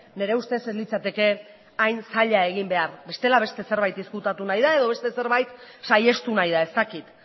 nire ustez ez litzateke hain zaila egin behar bestela beste zerbait ezkutatu nahi da edo beste zerbait saihestu nahi da ez dakit